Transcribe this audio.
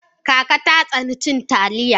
Kaka ta tsani cin Taliya.